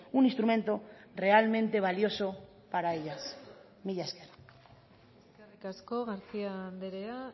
un instrumento realmente valioso para ellas mila esker eskerrik asko garcía andrea